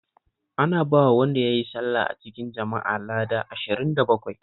Ana bawa wanda ya yi sallah a cikin jama'a lada ashirin da bakwai